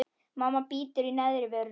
Mamma bítur í neðri vörina.